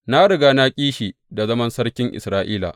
Na riga na ƙi shi da zaman sarkin Isra’ila.